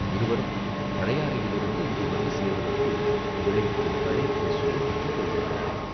இருவரும் பழையாறையிலிருந்து இங்கே வந்து சேர்வதற்குள் இளைத்துக் களைத்துச் சோர்வுற்றுப் போயிருக்கிறார்கள்.